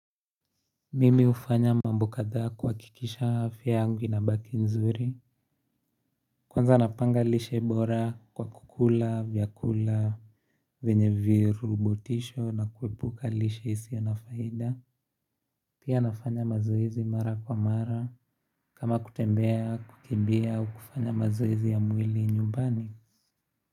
Mimi hufanya mambo kadhaa kuhakikisha afya yangu inabaki nzuri Kwanza napanga lishe bora kwa kukula vyakula venye virubotisho na kuepuka lishe isio na faida Pia nafanya mazoezi mara kwa mara kama kutembea, kukimbia, au kufanya mazoezi ya mwili nyumbani.